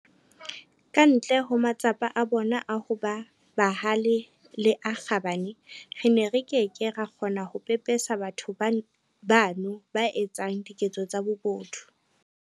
Ka ntle ho matsapa a bona a ho ba bahale le a kgabane, re ne re ke ke ra kgona ho pepesa batho bano ba etsang diketso tsa bobodu.